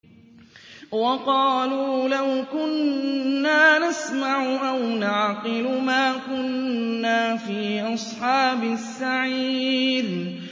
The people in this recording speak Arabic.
وَقَالُوا لَوْ كُنَّا نَسْمَعُ أَوْ نَعْقِلُ مَا كُنَّا فِي أَصْحَابِ السَّعِيرِ